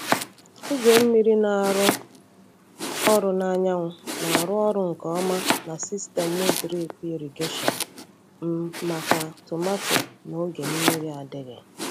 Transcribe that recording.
Igwe mmiri na-arụ ọrụ na anyanwụ na-arụ ọrụ nke ọma na sistemụ drip irrigation m maka tomato na oge mmiri adịghị.